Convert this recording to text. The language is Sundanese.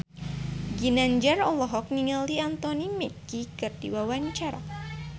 Ginanjar olohok ningali Anthony Mackie keur diwawancara